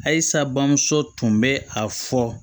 Ayisa bamuso tun bɛ a fɔ